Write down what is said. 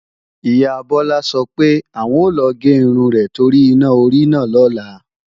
Ìyá Bọ́lá sọ pé, àwọn o lọ gé irun rẹ̀ torí iná orí náà lọ́la